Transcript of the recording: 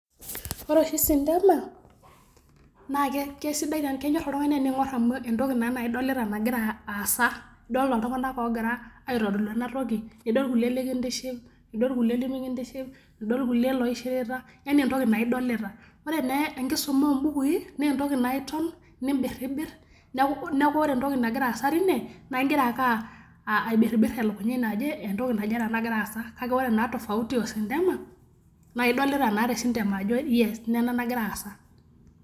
Ore oshi sintema, naa kisidai, kenyor oltung'ani tening'or amuu entikii na naa idolita nagira aasa. Idolita iltung'ana logira aitodolu ena toki, nidol kulie likintiship, nidol irkulie lemikintiship, idol irkulie loishirita, yaani entokii naa idolita. Ore naa enkisuma obukuin naa idol nibiribir neeku eru entoki nagira aasa tine naa igira ake aibiriibir elekunya ino ajo entoki naje nagira aasa. Kake ore naa tofauti oo sintema na idolita naa te sintema ajo yes nena nagira aasa.